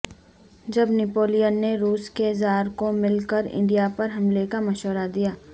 جب نیپولین نے روس کے زار کو مل کر انڈیا پر حملے کا مشورہ دیا